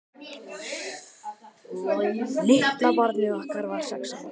Litla barnið okkar var sex ára.